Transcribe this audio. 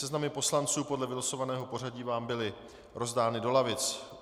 Seznamy poslanců podle vylosovaného pořadí vám byly rozdány do lavic.